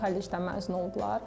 Bu kollecdən məzun olublar.